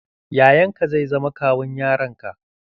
Yayanka zai zama kawun yaran ka.